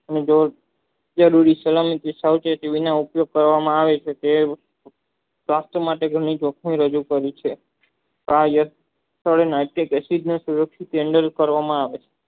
તેના ઉપયોગ કરવામાં આવે છે તે માટે તેને જખ્મ રેડાય કરી છે પ્રસિદ્ધ કરી છે